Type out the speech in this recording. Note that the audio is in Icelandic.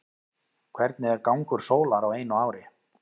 hvernig er gangur sólar á einu ári